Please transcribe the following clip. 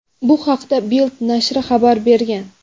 Bu haqda "Bild" nashri xabar bergan.